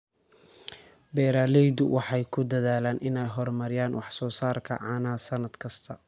Beeraleydu waxay ku dadaalaan inay horumariyaan wax soo saarka caanaha sannad kasta.